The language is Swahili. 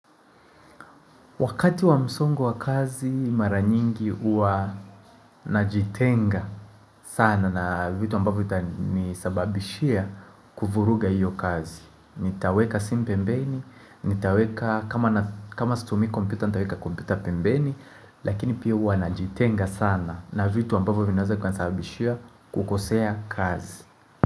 Wakati wa msongo wa kazi mara nyingi hua najitenga sana na vitu ambavyo itanisababishia kuvuruga iyo kazi Nitaweka simu pembeni, nitaweka kama situmii komputa nitaweka komputa pembeni Lakini pia hua najitenga sana na vitu ambavyo vinaweza vikanisababishia kukosea kazi.